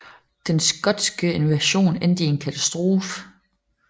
Den skotske invasion endte i en katastrofe